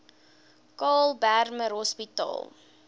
karl bremer hospitaal